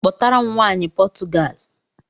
Kpọtara m nwaanyị Potugali